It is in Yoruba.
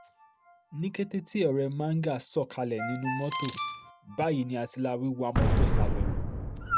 ní kété tí ọ̀rẹ́ manga sọ̀ kalẹ̀ nínú mọ́tò báyìí ni àtìláàwí wa mọ́tò sá lọ